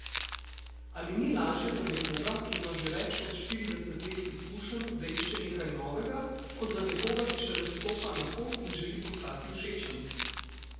Ali ni lažje za nekoga, ki ima že več kot štirideset let izkušenj, da išče nekaj novega, kot za nekoga, ki šele stopa na pot in želi postati všečen?